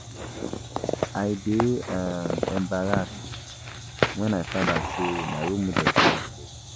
I dey um embarrassed wen I find out say my role model dey wicked